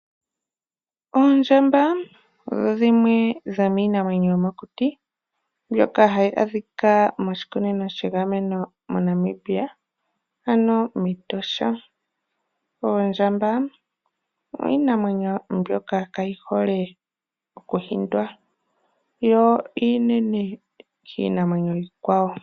Oondjamba odho dhimwe dhomiinamwenyo yomokuti mbyoka hayi adhika moshikunino shiinamwenyo moNamibia ano mEtosha. Oondjamba odho iinamwenyo mbyoka kaayi hole okuhindwa yo iinene kiikwawo.